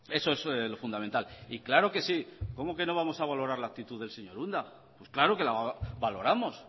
eso es lo fundamental y claro que sí cómo que no vamos a valorar la actitud del señor unda pues claro que la valoramos